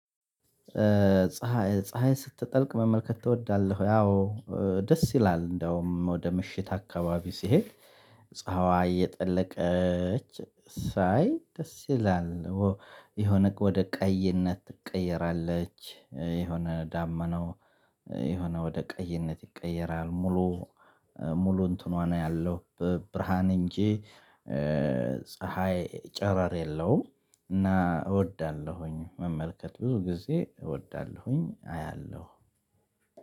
ፀሀይ ፀሀይን ስትጠልቅ መመልከት ትወዳለህ? ያው ደስ ይላል እንደውም ወደ ምሽት አካባቢ ስሄድ ፀሀዋ እየጠለቀች ሳይ ደስ ይላል። የሆነ ወደ ቀይነት ትቀየራለች የሆነ ዳመናው የሆነ ወደ ቀይነት ይቀየራል። ሙሉ ሙሉ እንትኗን አያለው። ብርሃን እንጂ ፀሀይ ጨረር የለውም። እና እወዳለሁኝ መመልከት ብዙ ጊዜ እወዳለሁኝ። አያለሁ